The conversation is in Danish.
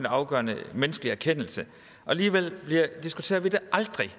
afgørende for menneskelig erkendelse og alligevel diskuterer vi det aldrig